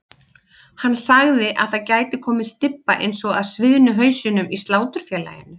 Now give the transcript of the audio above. Hann sagði að það gæti komið stybba eins og af sviðnu hausunum í Sláturfélaginu.